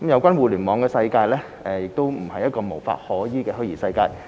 二互聯網的世界並不是一個無法可依的虛擬世界。